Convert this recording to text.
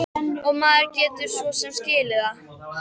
Og maður getur svo sem skilið það.